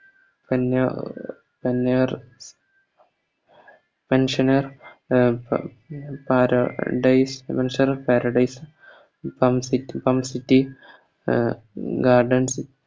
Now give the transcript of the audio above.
തൊണ്ണുർ തൊണ്ണൂറ് Function നെ ഉം പ് പാര ഡേയ്‌സ് എന്നുവെച്ചാൽ Paradise City ഉം Garden